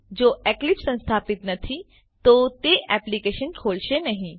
જો એક્લીપ્સ સંસ્થાપીત નથી તો તે એપ્લીકેશન ખોલશે નહી